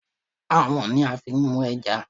Àwọ̀n ni a fi n mú ẹja